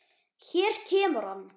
Hér kemur hann.